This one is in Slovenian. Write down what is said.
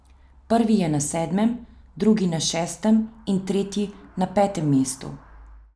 Prvi je na sedmem, drugi na šestem in tretji na petem mestu.